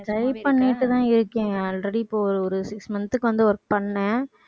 try பண்ணிட்டுதான் இருக்கேன் already இப்ப ஒரு six month க்கு வந்து work பண்ணேன்.